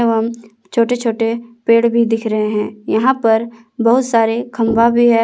एवं छोटे छोटे पेड़ भी दिख रहे हैं यहां पर बहुत सारे खंभा भी है।